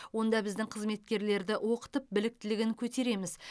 онда біздің қызметкерлерді оқытып біліктілігін көтереміз